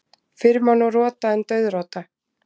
Fyrr má nú rota en dauðrota.